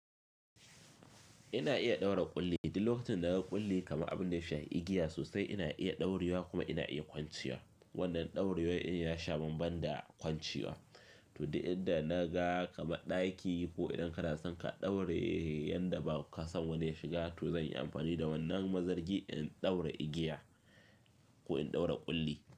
Ina iya ɗaura ƙulli, idan lokacin na ga ƙulli kama abun da ya sha igiya sosai ina iya ɗaurewa kuma ina iya kwancewa. Wannan ɗauriyoyi yana sha maban da kwancewa. To, idan da naga kama ɗaki ko idan ka dasan ka ɗaura yanda ba ka san wanda ya shiga, to zan yi amfani da wannan mazargi in ɗaura igiya ko in ɗaura ƙulli.